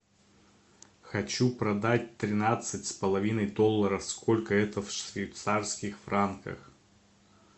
хочу продать тринадцать с половиной долларов сколько это в швейцарских франках